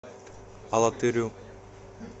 алатырю